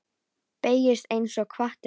Beygist einsog hvati.